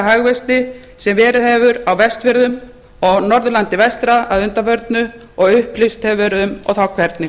hagvexti sem verið hefur á vestfjörðum og norðurlandi vestra að undanförnu og upplýst hefur verið um og þá hvernig